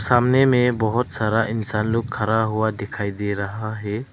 सामने में बहुत सारा इंसान लोग खड़ा हुआ दिखाई दे रहा है।